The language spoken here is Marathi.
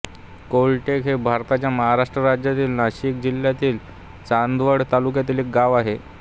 कोळटेक हे भारताच्या महाराष्ट्र राज्यातील नाशिक जिल्ह्यातील चांदवड तालुक्यातील एक गाव आहे